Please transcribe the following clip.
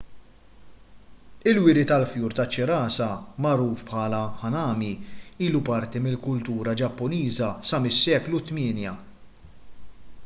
il-wiri tal-fjur taċ-ċirasa magħruf bħala hanami ilu parti mill-kultura ġappuniża sa mis-seklu 8